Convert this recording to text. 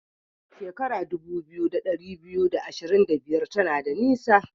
Shekara dubu biyu da dari biyu da ashirin da biyar tana da nisa.